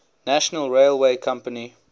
national railway company